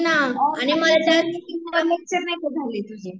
आणि मला सांग मीटिंग वर लेक्चर नाही का झाले तुझे